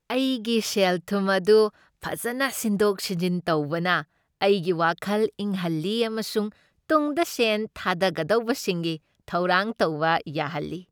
ꯑꯩꯒꯤ ꯁꯦꯜꯊꯨꯝ ꯑꯗꯨ ꯐꯖꯅ ꯁꯤꯟꯗꯣꯛ ꯁꯤꯟꯖꯤꯟ ꯇꯧꯕꯅ ꯑꯩꯒꯤ ꯋꯥꯈꯜ ꯏꯪꯍꯟꯂꯤ ꯑꯃꯁꯨꯡ ꯇꯨꯡꯗ ꯁꯦꯟ ꯊꯥꯒꯗꯧꯕꯁꯤꯡꯒꯤ ꯊꯧꯔꯥꯡ ꯇꯧꯕ ꯌꯥꯍꯜꯂꯤ ꯫